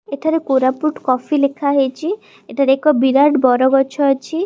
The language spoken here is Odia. ଏଠାରେ କୋରାପୁଟ କଫି ଲେଖା ହେଇଛି ଏଠାରେ ଏକ ବିରାଟ ବରଗଛ ଅଛି।